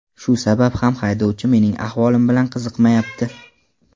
Shu sabab ham haydovchi mening ahvolim bilan qiziqmayapti.